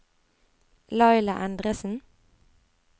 Laila Endresen